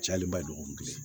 Cayalen ba dɔgɔkun kelen